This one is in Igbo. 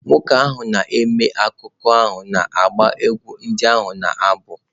Nwoke ahụ na-eme akụkọ ahụ na-agba egwú ndị ha na-abụ.